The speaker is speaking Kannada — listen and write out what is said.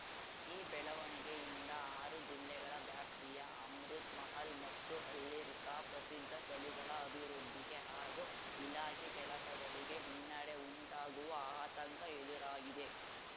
ಈ ಬೆಳವಣಿಗೆಯಿಂದ ಆರು ಜಿಲ್ಲೆಗಳ ವ್ಯಾಪ್ತಿಯ ಅಮೃತ್‌ ಮಹಲ್‌ ಮತ್ತು ಹಳ್ಳಿರ್ಕಾ ಪ್ರಸಿದ್ಧ ತಳಿಗಳ ಅಭಿವೃದ್ಧಿಗೆ ಹಾಗೂ ಇಲಾಖೆ ಕೆಲಸಗಳಿಗೆ ಹಿನ್ನೆಡೆ ಉಂಟಾಗುವ ಆತಂಕ ಎದುರಾಗಿದೆ